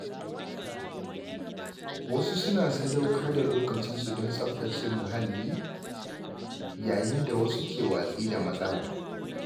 Wasu suna sadaukar da lokacinsu don tsaftace mahalli, yayin da wasu ke watsi da matsalar.